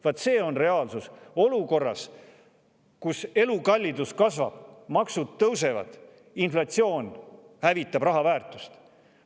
Vaat see on reaalsus olukorras, kus elukallidus kasvab, maksud tõusevad, inflatsioon hävitab raha väärtust.